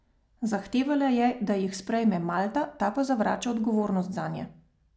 Zahtevala je, da jih sprejme Malta, ta pa zavrača odgovornost zanje.